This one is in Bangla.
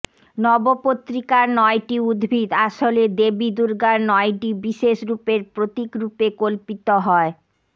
নবপত্রিকার নয়টি উদ্ভিদ আসলে দেবী দুর্গার নয়টি বিশেষ রূপের প্রতীকরূপে কল্পিত হয়ঃ